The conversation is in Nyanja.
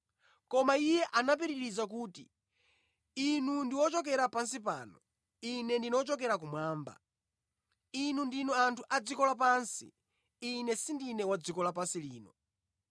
Koma Iye anapitiriza kuti, “Inu ndi ochokera pansi pano. Ine ndine wochokera kumwamba. Inu ndinu anthu a dziko la pansi. Ine sindine wa dziko lapansi lino.